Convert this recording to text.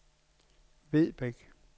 Vedbæk